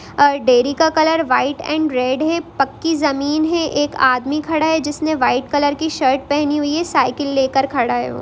dairy का colour white and red है| पक्की ज़मीन है| एक आदमी खड़ा है जिसने वाइट कलर की शर्ट पहनी हुई है| साइकिल लेकर खड़ा हैं वो|